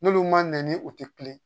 N'olu man na ni o tɛ kulen